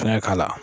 Fɛngɛ k'a la